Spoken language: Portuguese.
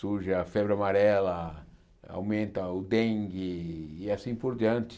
surge a febre amarela, aumenta o dengue e assim por diante.